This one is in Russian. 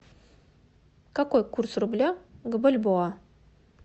какой курс рубля к бальбоа